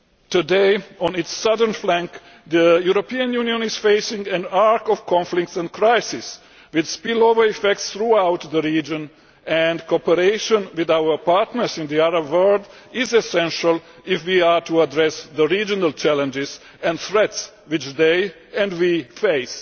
Today, on its southern flank, the European Union is facing an arc of conflicts and crises, with spillover effects throughout the region and cooperation with our partners in the Arab world is essential if we are to address the regional challenges and threats which they, and we, face.